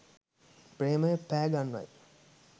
ප්‍රේමය පෑ ගන්වයි